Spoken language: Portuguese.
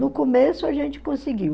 No começo a gente conseguiu.